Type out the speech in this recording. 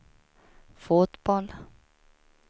fotboll